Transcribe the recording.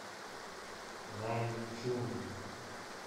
наньчун